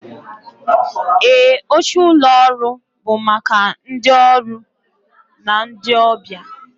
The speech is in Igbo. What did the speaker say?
Ee, oche ụlọ ọrụ bụ maka ma ndị ọrụ na ndị ọbịa